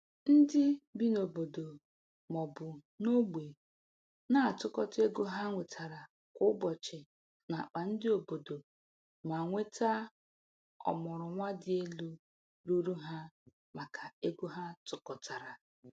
Ndị bi n'obodo maọbu ogbe na-atụkọta ego ha nwetara kwa ụbọchị n'akpa ndị obodo ma nweta ọmụrụ nwa dị n'elu ruru ha maka ego ha tụkọtara